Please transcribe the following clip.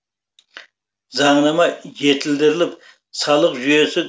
заңнама жетілдіріліп салық жүйесі